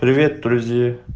привет друзья